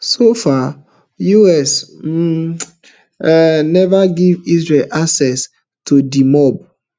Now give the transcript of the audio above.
so far US um um neva give israel access to di mob